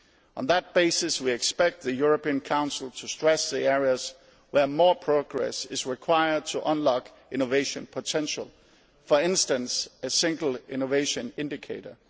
On that basis we expect the European Council to stress the areas where more progress is required to unlock innovation potential, for instance a single innovation indicator.